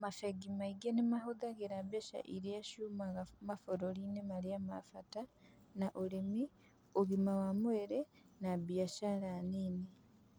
Mabengi ningĩ nĩ mahũthagĩra mbeca iria ciumaga mabũrũri-inĩ marĩa ma bata ta ũrĩmi, ũgima wa mwĩrĩ, na biacara nini.